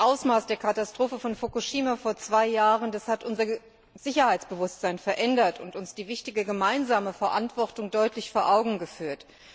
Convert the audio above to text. Das Ausmaß der Katastrophe von Fukushima vor zwei Jahren hat unser Sicherheitsbewusstsein verändert und uns die wichtige gemeinsame Verantwortung deutlich vor Augen geführt.